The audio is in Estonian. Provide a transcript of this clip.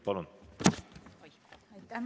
Palun!